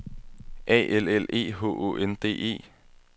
A L L E H Å N D E